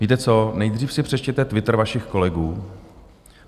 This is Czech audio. Víte co, nejdřív si přečtěte Twitter vašich kolegů.